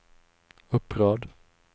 upprörd